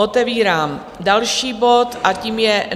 Otevírám další bod a tím je